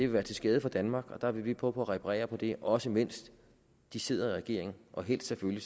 være til skade for danmark og der vil vi prøve på at reparere på det også mens de sidder i regering og helst selvfølgelig